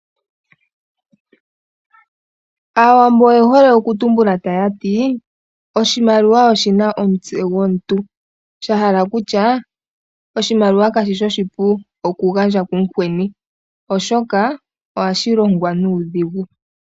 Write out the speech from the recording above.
Aawambo oye hole oku tumbula taya ti: Oshimaliwa oshina omutse gomuntu, shahala okutya oshimaliwa kashishi oshipu oku gandja kumukweni oshoka ohashi longwa nuudhigu.